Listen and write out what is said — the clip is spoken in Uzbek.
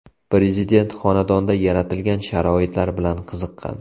Prezident xonadonda yaratilgan sharoitlar bilan qiziqqan.